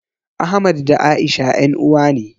Ahmad da A'isha ƴan uwa ne.